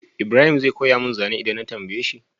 Ibrahim zai koya mun zane idan na tambaye shi?